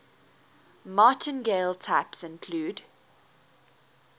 martingale types include